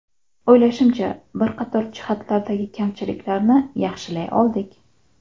O‘ylashimcha, bir qator jihatlardagi kamchiliklarni yaxshilay oldik.